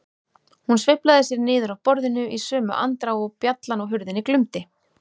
Hún sveiflaði sér niður af borðinu í sömu andrá og bjallan á hurðinni glumdi.